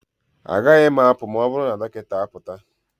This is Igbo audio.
Agaghị m apụ ma ọ bụrụ na dọkịta apụta